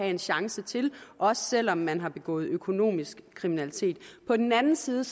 en chance til også selv om man har begået økonomisk kriminalitet på den anden side